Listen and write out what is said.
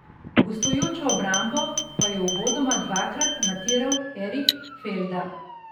Gostujočo obrambo pa je uvodoma dvakrat matiral Erik Felda.